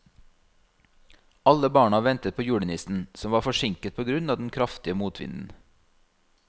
Alle barna ventet på julenissen, som var forsinket på grunn av den kraftige motvinden.